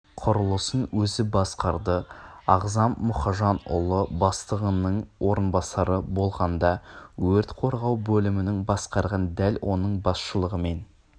құрылысын өзі басқарды ағзам мухажанұлы бастығының орынбасары болғанда өрт қорғау бөлімін басқарған дәл оның басшылығымен